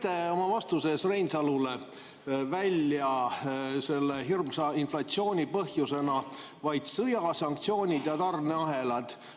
Te tõite oma vastuses Reinsalule välja selle hirmsa inflatsiooni põhjustena vaid sõja, sanktsioonid ja tarneahelad.